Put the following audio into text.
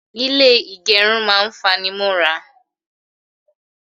Ilé ìgẹrun máa ń fanimọ́ra.